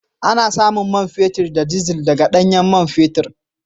Ana samun man fetur da dizal daga ɗanyen man fetur